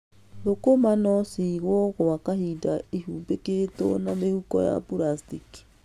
Thũkũma no cigwo gwa kahinda ĩhumbĩkitwo na mĩhuko ya puracitĩki.